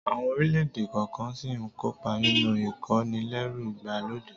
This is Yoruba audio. Àwọn orílẹ̀-èdè kọ̀ọ̀kan ṣì ń kópa nínú ìkónilẹ́rú ìgbàlódé